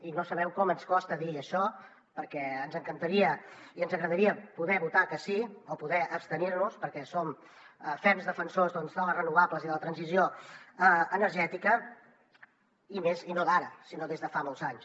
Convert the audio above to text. i no sabeu com ens costa dir això perquè ens encantaria i ens agradaria poder votar que sí o poder abstenir nos perquè som ferms defensors de les renovables i de la transició energètica i no d’ara sinó des de fa molts anys